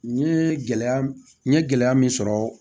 N ye gɛlɛya n ye gɛlɛya min sɔrɔ